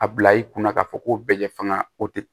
A bila i kunna k'a fɔ ko bɛɛ ye fanga o tɛ